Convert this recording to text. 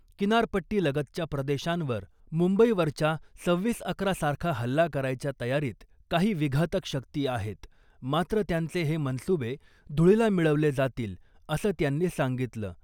किनारपट्टीलगतच्या प्रदेशांवर मुंबईवरच्या सव्हीस अकरा सारखा हल्ला करायच्या तयारीत काही विघातक शक्ती आहेत मात्र त्यांचे हे मनसुबे धुळीला मिळवले जातील असं त्यांनी सांगितलं .